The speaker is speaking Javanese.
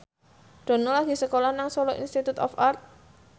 Dono lagi sekolah nang Solo Institute of Art